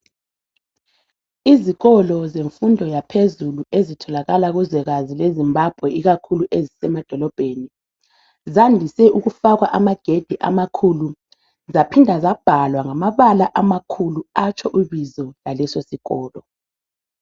Izikolo zemfundo yaphezulu ezitholakala kuzwekazi laseZimbabwe ikakhulu ezisemadolobheni zandise ukufakwa amagedi amakhulu zaphinde zabhalwa ngamabala amakhulu atsho ibizo lalesosikolo.